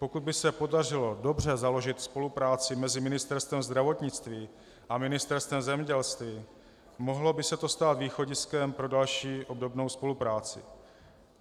Pokud by se podařilo dobře založit spolupráci mezi Ministerstvem zdravotnictví a Ministerstvem zemědělství, mohlo by se to stát východiskem pro další obdobnou spolupráci.